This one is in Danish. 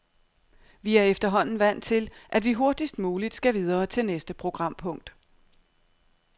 Vi er efterhånden vant til, at vi hurtigst muligt skal videre til næste programpunkt.